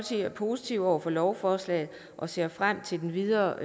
er positiv over for lovforslaget og ser frem til den videre